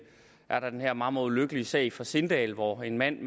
er der den her meget meget ulykkelige sag fra sindal hvor en mand